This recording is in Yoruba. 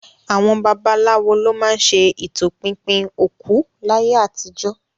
Àwọn babaláwo ló má ń ṣe ìtọpinpin òkú láyé àtijó